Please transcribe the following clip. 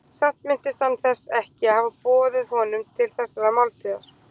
Samt minntist hann þess ekki að hafa boðið honum til þessarar máltíðar.